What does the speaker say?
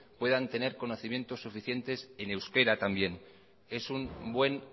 puedan tener conocimientos suficientes en euskera también es un buen